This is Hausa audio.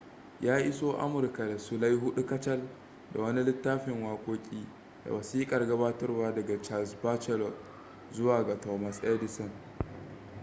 ya iso amurka da sulai 4 kacal da wani littafin wakoki da wasikar gabatarwa daga charles batchelor manajansa a aikin da ya bari zuwa ga thomas edison